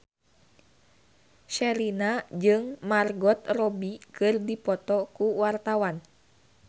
Sherina jeung Margot Robbie keur dipoto ku wartawan